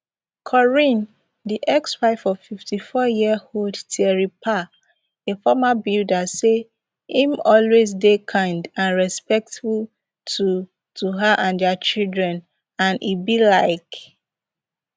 corinne di exwife of fifty-fouryearold thierry pa a former builder say im always dey kind and respectful to to her and dia children and e belike